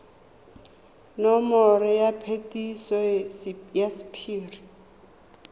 nomoro ya phetiso ya sephiri